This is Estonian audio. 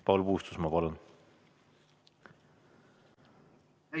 Paul Puustusmaa, palun!